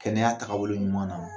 Kɛnɛya taagabolo ɲuman na